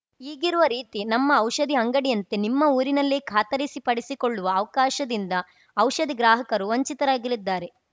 ಈಗಿರುವ ರೀತಿ ನಮ್ಮ ಔಷಧಿ ಅಂಗಡಿಯಂತೆ ನಿಮ್ಮ ಊರಿನಲ್ಲೇ ಖಾತರಿಸಿಪಡಿಸಿಕೊಳ್ಳುವ ಅವ್ಕಾಶದಿಂದ ಔಷಧಿ ಗ್ರಾಹಕರು ವಂಚಿತರಾಗಲಿದ್ದಾರೆ